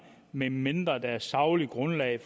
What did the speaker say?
medmindre det på et sagligt grundlag